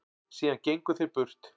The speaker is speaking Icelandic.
Síðan gengu þeir burt.